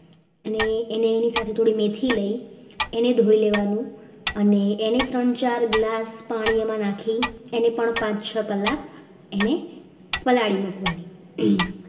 અને એની સાથે થોડી મેથી લેવાની એને ધોઈ લેવાનું અને એને ત્રણ ચાર glass પાણીમાં નાખી એને પણ પાંચ છ કલાક એને પલાળી મૂકવાની